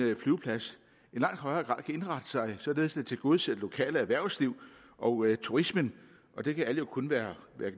flyveplads i langt højere grad kan indrette sig således at den tilgodeser det lokale erhvervsliv og turismen og det kan alle jo kun være